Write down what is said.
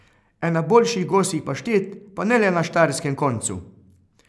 Ena boljših gosjih paštet, pa ne le na štajerskem koncu!